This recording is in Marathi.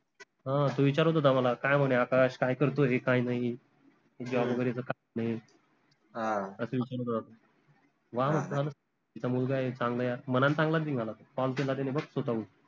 हां तो विचारत होता मला काय म्हने आकाश काय करतोय काय नाई वगैरेच काय असं विचारत होता तो मुलगाय चांगला यार मनानं चांगला निघाला तो call केला बघ त्याने स्वतःहून